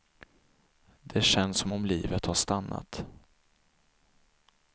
Det känns som om livet har stannat.